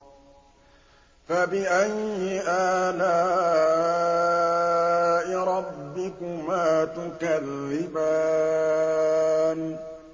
فَبِأَيِّ آلَاءِ رَبِّكُمَا تُكَذِّبَانِ